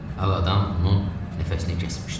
Ağadam onun nəfəsini kəsmişdi.